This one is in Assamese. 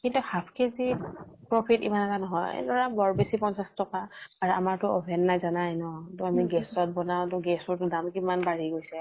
কিন্তু half কে জি ত profit ইমান এটা নহয়। ধৰা বৰ বেছি পঞ্চাছ টকা। আৰু আমাৰ টো oven নাই জানাই ন, ত আমি gas ত বনাও, gas ৰ দাম কিমান বাঢ়ি গৈছে।